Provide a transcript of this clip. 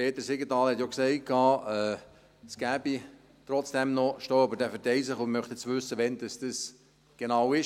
Peter Siegenthaler hat gesagt, es gebe trotzdem noch Stau, aber dieser verteile sich, und er möchte jetzt wissen, wann das genau ist.